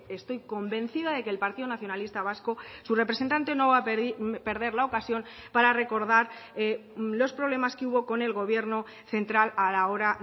estoy convencida de que el partido nacionalista vasco su representante no va a perder la ocasión para recordar los problemas que hubo con el gobierno central a la hora